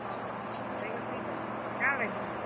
ଓହୋ ଖାଇକରି ସୁଇଛ, କାଣା ରାନ୍ଧିଥିଲୁ?